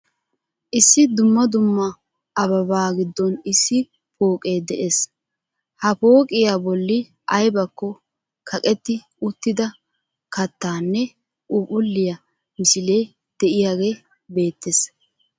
Issi dumm dumma ababaa giddon issi pooqee de'ees. Ha pooqiya bolli aybakko kaqetti uttida kattaa nne phuuphphulliya misilee de'iyagee beettees.